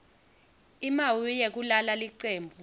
imawi yekulala licembu